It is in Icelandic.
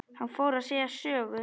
Hann fór að segja sögu.